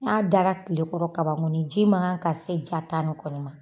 N'a dara tile kɔrɔ ka ban kɔni, ji man kan ka se ja ta in kɔni ma.